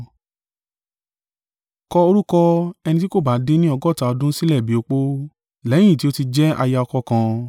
Kọ orúkọ ẹni tí kò bá dín ni ọgọ́ta ọdún sílẹ̀ bí opó, lẹ́yìn ti ó ti jẹ́ aya ọkọ kan.